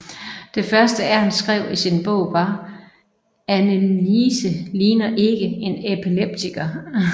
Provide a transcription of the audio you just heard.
Det første Ernst skrev i sin bog var Anneliese ligner ikke en epileptiker